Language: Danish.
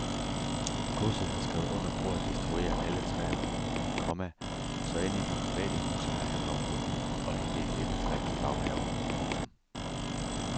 Godset har skrevet under på at destruere alle træer, komma så end ikke private husejere kan komme forbi og hente et æbletræ til baghaven. punktum